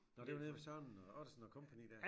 Når det var nede ved Søren og Ottesen og kompagni der?